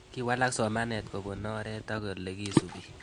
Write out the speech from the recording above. Kiwalak somanet kopun oret ak ole kisupei